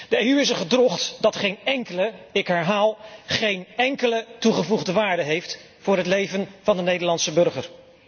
De EU is een gedrocht dat geen enkele, ik herhaal geen enkele toegevoegde waarde heeft voor het leven van de Nederlandse burger.